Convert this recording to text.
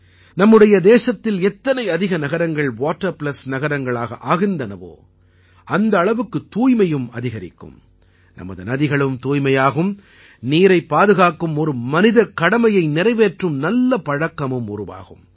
நம்முடைய தேசத்தில் எத்தனைஅதிக நகரங்கள் வாட்டர் பிளஸ் நகரங்களாகஆகின்றனவோ அந்த அளவுக்குத் தூய்மையும் அதிகரிக்கும் நமது நதிகளும் தூய்மையாகும் நீரைப் பாதுகாக்கும் ஒரு மனிதக்கடமையை நிறைவேற்றும் நல்ல பழக்கமும் உருவாகும்